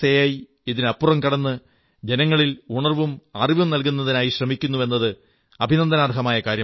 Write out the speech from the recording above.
E ഇതിനപ്പുറം കടന്ന് ജനങ്ങളിൽ ഉണർവ്വും അറിവും നല്കുന്നതിനായി ശ്രമിക്കുന്നുവെന്നത് അഭിനന്ദനാർഹമായ കാര്യമാണ്